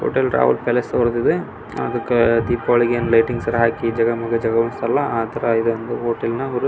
hotel Royal Palace ಬರೆದಿದೆ ಅದಕ್ಕೆ ದೀಪಾವಳಿ ಏನ್ ಲೈಟಿಂಗ್ಸ್ ಹಾಕಿ ಜಗಮಗ ಜಗಮಗ ಆ ತರ ಇದೆ ಹೋಟೆಲ್ ನವರು --